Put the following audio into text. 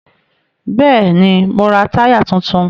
Bẹ́ẹ̀ni, mo ra táyà tuntun